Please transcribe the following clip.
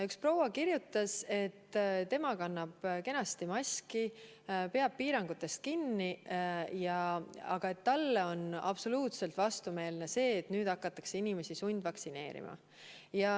Üks proua kirjutas, et tema kannab kenasti maski, peab piirangutest kinni, aga talle on absoluutselt vastumeelne see, et nüüd hakatakse inimesi sundvaktsineerima.